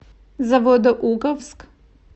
заводоуковск